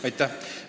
Aitäh!